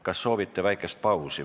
Kas soovite väikest pausi?